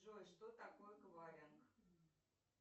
джой что такое эквайринг